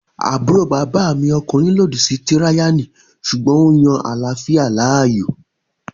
Àbúrò bàbá mi ọkùnrin lòdì sí tíráyánì sùgbọ́n ó yan àláfíà láàyò